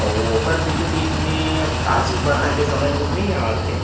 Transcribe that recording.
अउ ओकर बीचो बीच में अब का चीज बनाहे ते समझ में तो नि आत हे।